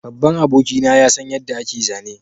Babban abokina ya san yadda ake zane